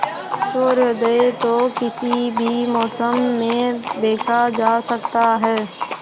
सूर्योदय तो किसी भी मौसम में देखा जा सकता है